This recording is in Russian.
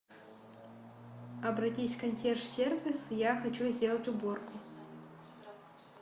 обратись в консьерж сервис я хочу сделать уборку